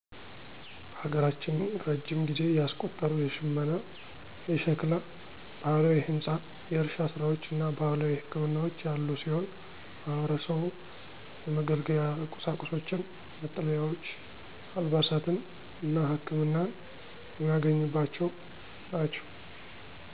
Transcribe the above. በሀገራችን እረጅም ጊዜ ያስቆጠሩ የሽመና፣ የሸክላ፣ ባህላዊ ህንፃ፣ የእርሻ ስራዎች እና ባህላዊ ህክምናዎች ያሉ ሲሆን ማህበረሰቡ የመገልገያ ቁሳቁሶችን፣ መጠለያዎች፣ አልባሳትን እና ህክመናን የሚያገኝባቸው ናቸው።